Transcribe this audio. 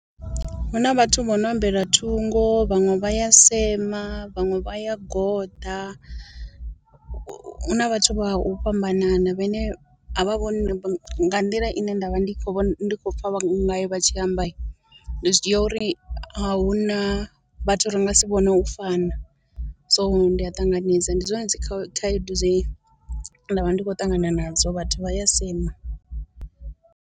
Hu na vhathu vho no ambela thungo, vhaṅwe vha ya sema, vhaṅwe vha ya goḓa, hu na vhathu vha u fhambanana vhane a vha vhoni nga nḓila ine nda vha ndi khou ndi khou pfa vha ngayo vha tshi amba, ndi zwi dzhia uri a hu na vhathu ri nga si vhone u fana, so ndi a ṱanganedza ndi zwone dzi khaedu dze nda vha ndi khou ṱangana nadzo, vhathu vha ya sema.